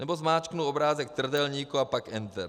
Nebo zmáčknu obrázek trdelníku a pak enter.